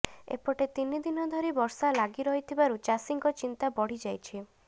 ଏପଟେ ତିନି ଦିନ ଧରି ବର୍ଷା ଲାଗି ରହିଥିବାରୁ ଚାଷୀଙ୍କ ଚିନ୍ତା ବଢ଼ିଯାଇଛି